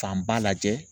Fanba lajɛ